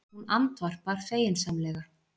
Hún andvarpar feginsamlega.